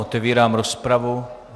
Otevírám rozpravu.